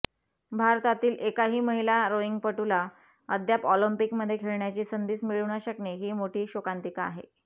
भारतातील एकाही महिला रोईंगपटूला अद्याप ऑलिम्पिकमध्ये खेळण्याची संधीच मिळू न शकणे ही मोठी शोकांतिका आहे